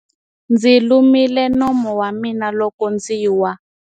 Ndzi lumile nomu wa mina loko ndzi wa.